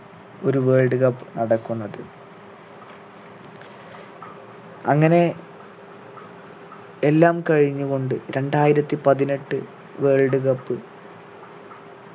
ഒരു world cup നടക്കുന്നത് അങ്ങനെ എല്ലാം കഴിഞ്ഞുകൊണ്ട് രണ്ടായിരത്തി പതിനെട്ട് world cup